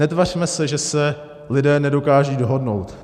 Netvařme se, že se lidé nedokážou dohodnout.